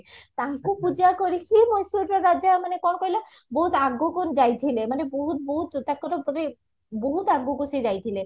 ତାଙ୍କୁ ପୂଜା କରିକି ମହେଶ୍ଵରର ରାଜା ମାନେ କଣ କହିଲା ବହୁତ ଆଗକୁ ଯାଇଥିଲେ ମାନେ ବହୁତ ବହୁତ ତାଙ୍କର ମାନେ ବହୁତ ଆଗକୁ ସେ ଯାଇଥିଲେ